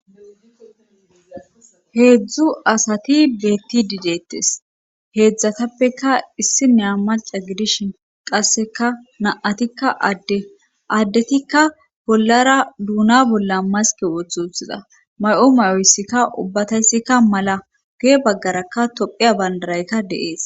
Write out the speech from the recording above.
heedzdzu asati beetti didettes heedzdzatappeka issi nea maca gidishin qasseka na7atikka adde addetikka bollara duuna bolla maske wothuthiza may7o may7oyssikka ubbatayssikka mala gee baggarakka tophiya bandarayka deees